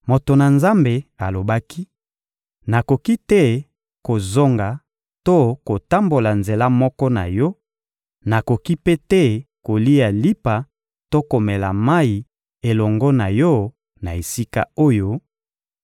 Moto na Nzambe alobaki: — Nakoki te kozonga to kotambola nzela moko na yo; nakoki mpe te kolia lipa to komela mayi elongo na yo na esika oyo,